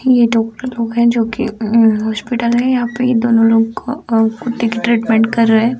ये डॉक्टर लोग हैं जो कि हॉस्पिटल है। यहाँ पे ये दोनों लोग को अ कुत्ते की ट्रीटमेंट कर रहे।